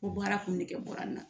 O bɔra, a kun nege bɔra n na